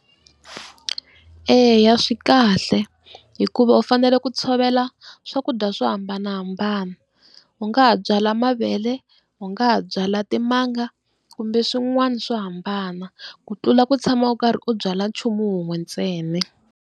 Eya swikahle hikuva u fanele ku tshovela swakudya swo hambanahambana, u nga ha byala mavele u nga ha byala timanga kumbe swin'wana swo hambana ku tlula ku tshama u karhi u byala nchumu wun'we ntsena.